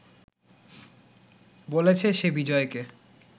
বলেছে সে বিজয়কে